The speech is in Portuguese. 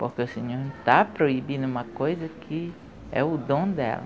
''Porque o Senhor está proibindo uma coisa que é o dom dela.''